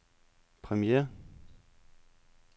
premiere